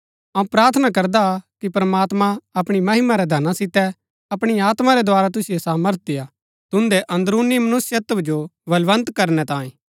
अऊँ प्रार्थना करदा कि प्रमात्मां अपणी महिमा रै धना सितै अपणी आत्मा रै द्धारा तुसिओ सामर्थ देय्आ तुन्दै अन्दरूनी मनुष्यत्व जो बलवन्त करनै तांये